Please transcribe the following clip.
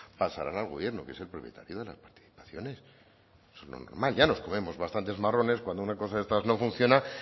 pasarán al gobierno que es el propietario de las participaciones eso es lo normal ya nos comemos bastantes marrones cuando una cosa de estas no funciona